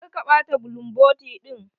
Kar ka taɓa bulumboti ɗin.